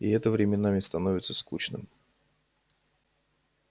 и это временами становится скучным